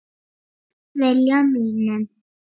Gegn vilja mínum.